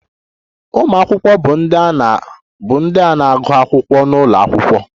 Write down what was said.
Ụmụ akwụkwọ bụ ndị a na-agụ akwụkwọ n'ụlọ akwụkwọ